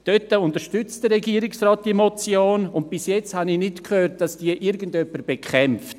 Der Regierungsrat unterstützt diese Motion, und bisher habe ich nicht gehört, dass jemand diese bekämpft.